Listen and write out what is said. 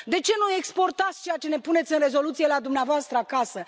De ce nu exportați ceea ce puneți în rezoluție la dumneavoastră acasă?